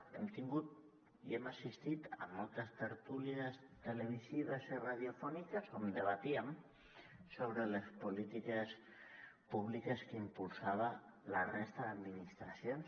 hem tingut i hem assistit a moltes tertúlies televisives i radiofòniques on debatíem sobre les polítiques públiques que impulsava la resta d’administracions